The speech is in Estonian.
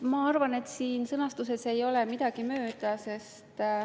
Ma arvan, et siin sõnastuses ei ole midagi mööda.